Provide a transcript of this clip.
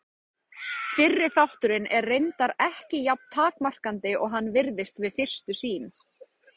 Fyrri þátturinn er reyndar ekki jafn takmarkandi og hann virðist við fyrstu sýn.